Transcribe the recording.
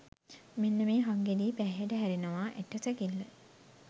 මෙන්න මේ හක්ගෙඩියේ පැහැයට හැරෙනවා ඇට සැකිල්ල.